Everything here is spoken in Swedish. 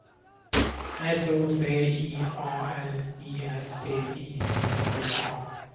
S O C I A L I S T I S K A